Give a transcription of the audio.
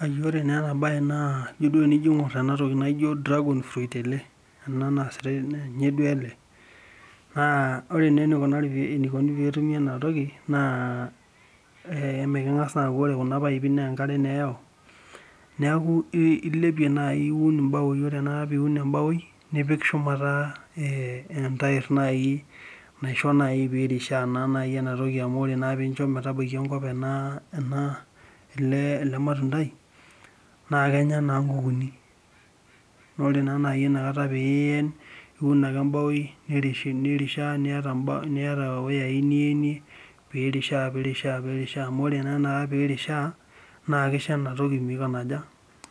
Aiyore naa ena bae naa, ijo duo tenijo aing'or ena toki naijo cs[dragon fruit]cs ele, ena naasitae ninye duo ele, naa ore naa enaikunari enaikuni pee etumi ena toki naa, emeekeng'asa naaku ore kuna paipi naa enkare eyau, neeku ilipie naai iun imbaoi ore tenakata piiun imbaoi nipik shumata entaerr nai naisho nai piirishaa naa nai enatoki amu ore naa nai piincho metabaiki enkop ena ele matundai naa kenya naa nai inkukuuni, naa ore naa ina kata peeiyen niun ake ake embao niri nirishaa niyata euyai nienie piirishaa piirishaa amuu ore naa ina kata piirishaa naa kisho ena toki